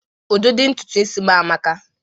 Ụdịdị ntutu isi m amaka